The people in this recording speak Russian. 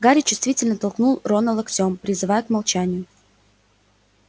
гарри чувствительно толкнул рона локтём призывая к молчанию